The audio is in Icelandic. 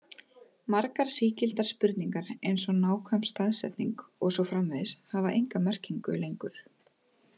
Margar sígildar spurningar eins og nákvæm staðsetning og svo framvegis hafa enga merkingu lengur.